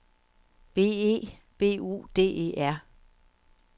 B E B U D E R